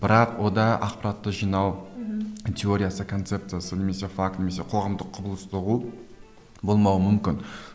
бірақ онда ақпаратты жинау мхм теориясы концепциясы немесе факт немесе қоғамдық құбылысты ұғу болмауы мүмкін